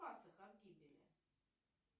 спас их от гибели